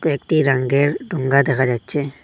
একটি রাঙ্গের ঢোঙ্গা দেখা যাচ্ছে।